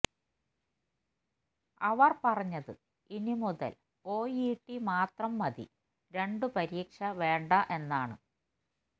അവർ പറഞ്ഞത് ഇനി മുതൽ ഒഇടി മാത്രം മതി രണ്ടു പരീക്ഷ വേണ്ട എന്നാണ്